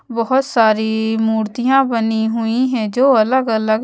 बहुत सारी मूर्तियां बनी हुईं हैं जो अलग अलग--